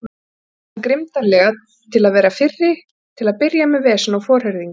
hvæsti hann grimmdarlega til að vera fyrri til að byrja með vesen og forherðingu.